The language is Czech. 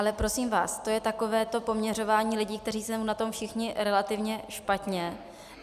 Ale prosím vás, to je takové to poměřování lidí, kteří jsou na tom všichni relativně špatně.